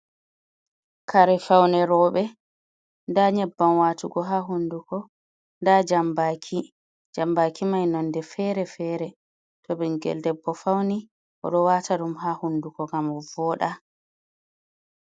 Kare faune robe, nda nyebbam watugo ha hunduko, da jambaki. Jambaki mai nande fere-fere, to ɓingel debbo fauni o ɗo wata ɗum ha hunduko gam o voda.